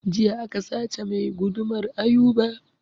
Jiya aka sace mai gudumar Ayuba